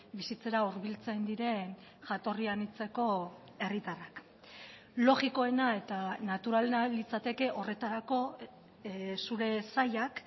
bizitzera hurbiltzen diren jatorri anitzeko herritarrak logikoena eta naturalena litzateke horretarako zure sailak